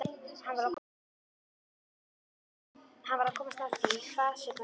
Hann varð að komast að því, hvað sem það kostaði.